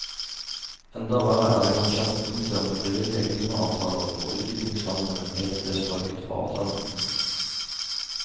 Enda verre er det kanskje at punktet om frivillige klimaavtaler for utviklingslandene helt ble strøket fra avtalen.